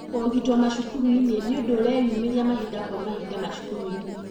kũũgitwo macukuru-inĩ nĩ ũndũ ũreyumĩria mahinda kwa mahinda macukuru-inĩ